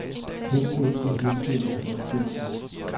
hengemte hengemte hengemte